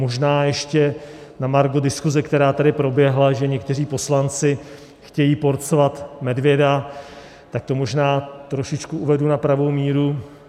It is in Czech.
Možná ještě na margo diskuse, která tady proběhla, že někteří poslanci chtějí porcovat medvěda, tak to možná trošičku uvedu na pravou míru.